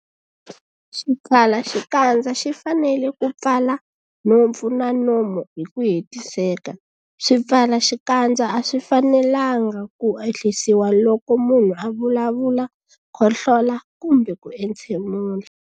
Xipfalaxikandza xi fanele ku pfala nhompfu na nomo hi ku hetiseka. Swipfalaxikandza a swi fanelanga ku ehlisiwa loko munhu a vulavula, khohlola kumbe ku entshemula.